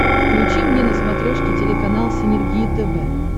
включи мне на смотрешке телеканал синергия тв